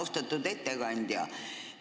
Austatud ettekandja!